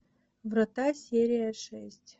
врата серия шесть